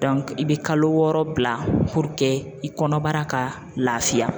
i bɛ kalo wɔɔrɔ bila i kɔnɔbara ka laafiya.